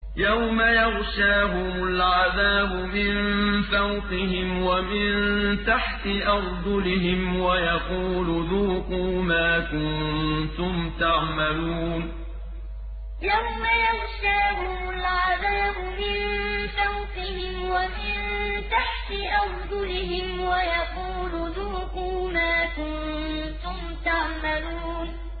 يَوْمَ يَغْشَاهُمُ الْعَذَابُ مِن فَوْقِهِمْ وَمِن تَحْتِ أَرْجُلِهِمْ وَيَقُولُ ذُوقُوا مَا كُنتُمْ تَعْمَلُونَ يَوْمَ يَغْشَاهُمُ الْعَذَابُ مِن فَوْقِهِمْ وَمِن تَحْتِ أَرْجُلِهِمْ وَيَقُولُ ذُوقُوا مَا كُنتُمْ تَعْمَلُونَ